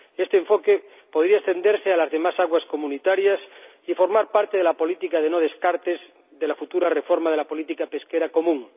Este enfoque podría extenderse a las demás aguas comunitarias y formar parte de la política de no descartes de la futura reforma de la política pesquera común.